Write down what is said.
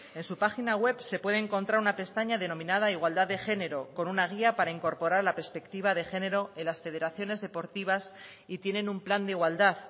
en su página web se puede encontrar una pestaña denominada igualdad de género con una guía para incorporar la perspectiva de género en las federaciones deportivas y tienen un plan de igualdad